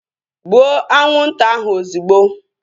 Gbuo anwụnta ahu ozigbo!